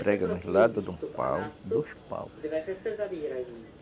Prega nos lados de um pau, dos paus.